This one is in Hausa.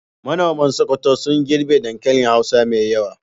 Manoman Sokoto sun girbe dankali hausa mai yawa.